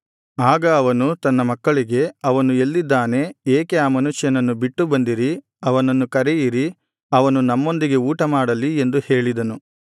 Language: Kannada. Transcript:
ಆಗ ಅವನು ತನ್ನ ಮಕ್ಕಳಿಗೆ ಅವನು ಎಲ್ಲಿದ್ದಾನೆ ಏಕೆ ಆ ಮನುಷ್ಯನನ್ನು ಬಿಟ್ಟು ಬಂದಿರಿ ಅವನನ್ನು ಕರೆಯಿರಿ ಅವನು ನಮ್ಮೊಂದಿಗೆ ಊಟಮಾಡಲಿ ಎಂದು ಹೇಳಿದನು